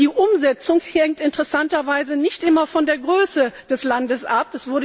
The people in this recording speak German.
Die Umsetzung hängt interessanterweise nicht immer von der Größe des Landes ab.